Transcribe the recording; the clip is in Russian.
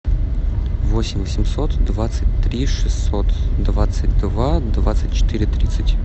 восемь семьсот двадцать три шестьсот двадцать два двадцать четыре тридцать